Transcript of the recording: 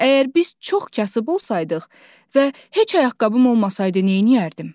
Əgər biz çox kasıb olsaydıq və heç ayaqqabım olmasaydı nə edərdim?